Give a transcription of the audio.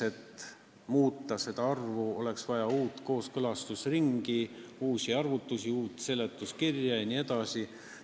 Et seda arvu muuta, oleks vaja uut kooskõlastusringi, uusi arvutusi, uut seletuskirja jne.